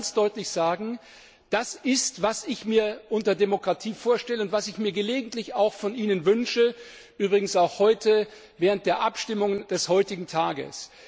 Ich will Ihnen ganz deutlich sagen, das ist es, was ich mir unter Demokratie vorstelle und was ich mir gelegentlich auch von Ihnen wünsche, übrigens auch während der Abstimmungen des heutigen Tages.